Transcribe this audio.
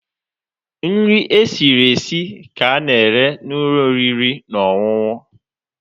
Nri esiri esi ka a na-ere n'ụlọ oriri na ọṅụṅụ.